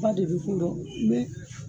Ba de bɛ k'u rɔ ni